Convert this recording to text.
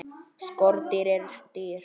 Skordýr eru dýr.